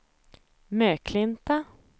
Möklinta